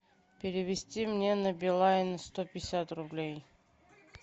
перевести мне на билайн сто пятьдесят рублей